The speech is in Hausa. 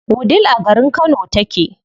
Wudil a garin Kano take.